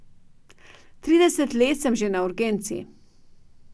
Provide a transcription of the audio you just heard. Trideset let sem že na urgenci.